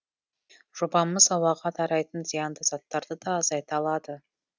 жобамыз ауаға тарайтын зиянды заттарды да азайта алады